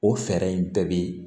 O fɛɛrɛ in bɛɛ bɛ